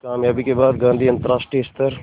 इस क़ामयाबी के बाद गांधी अंतरराष्ट्रीय स्तर